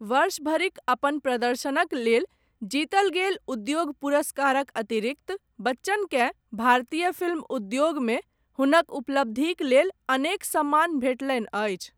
वर्ष भरिक अपन प्रदर्शनक लेल, जीतल गेल उद्योग पुरस्कारक अतिरिक्त, बच्चनकेँ, भारतीय फिल्म उद्योगमे, हुनक उपलब्धिक लेल, अनेक सम्मान भेटलनि अछि।